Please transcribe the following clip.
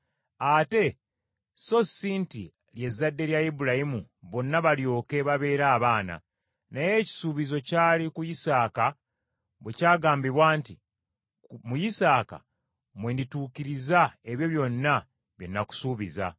Ate so si nti ly’ezzadde lya Ibulayimu bonna balyoke babeere abaana, naye ekisuubizo kyali ku Isaaka bwe kyagambibwa nti, “Mu Isaaka mwe ndituukiririza ebyo byonna bye nakusuubiza.”